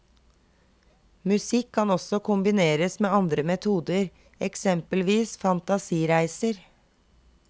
Musikk kan også kombineres med andre metoder, eksempelvis fantasireiser.